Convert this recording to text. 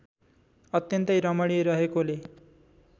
अत्यन्तै रमणीय रहेकोले